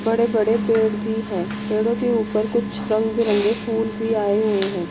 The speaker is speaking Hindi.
बड़े बड़े पेड़ भी है पेड़ों के ऊपर कुछ रंग बिरंगे फूल भी आए हुए हैं।